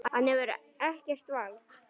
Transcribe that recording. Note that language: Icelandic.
Hann hefur ekkert vald.